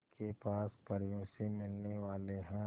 के पास परियों से मिलने वाले हैं